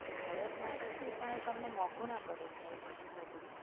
વર્ષ માટે છે પણ તમને મોંઘું ના પડે સાહેબ એટલું બધુ.